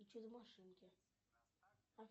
чудо машинки